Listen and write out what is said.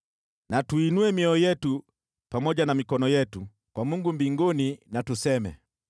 Tuinue mioyo yetu pamoja na mikono yetu kwa Mungu mbinguni, na tuseme: